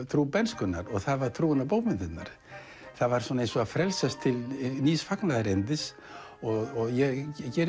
trú bernskunnar og það var trúin á bókmenntirnar það var eins og frelsast til nýs fagnaðarerindis ég